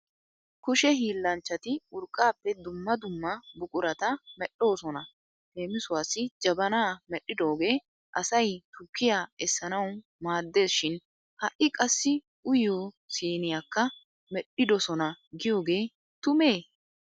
Kushe hiillanchchati urqqaappe dumma dumma buqurata medhdhoosona. Leemisuwaassi jabanaa medhdhidoogee asay tukkiya essanawu maaddes shin ha'i qassi uyiyo siiniyakka medhdhidosona giyoge tumee?